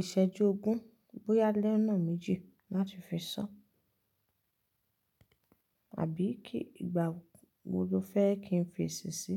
ìsẹ́jú ogún, bóyá lẹ́ ọ́nà méjì láti fi sọ àbí kí ìgbà wo lo fẹ́ kí n fi ṣèṣe?